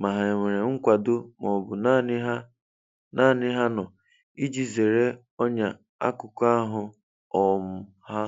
ma ha e nwere nkwado ma ọ bụ naanị ha naanị ha nọ, iji zeere ọnya n'akụkụ ahụ um ha.